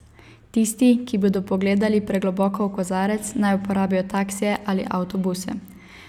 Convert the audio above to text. Tisti, ki bodo pogledali pregloboko v kozarec, naj uporabijo taksije ali avtobuse.